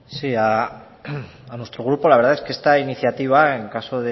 sí a nuestro grupo la verdad que esta iniciativa en caso